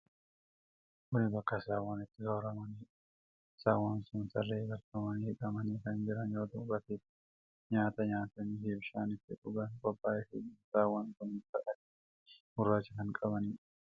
Kun bakka saawwan itti sooramanidha. Saawwan kun tarree galfamanii hidhamanii kan jiran yoo ta'u bakki itti nyaata nyaatanii fi bishaan itti dhugan qophaa'eefii jira. Saawwan kun bifa adii fi gurraacha kan qabaniidha.